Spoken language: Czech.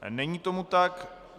Není tomu tak.